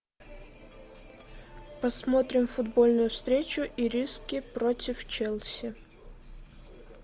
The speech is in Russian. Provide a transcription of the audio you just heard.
посмотрим футбольную встречу ириски против челси